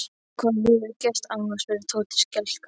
Hvað hefurðu gert amma? spurði Tóti skelkaður.